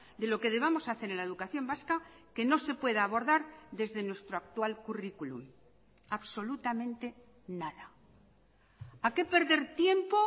de lo que debamos hacer en la educación vasca que no se pueda abordar desde nuestro actual currículum absolutamente nada a qué perder tiempo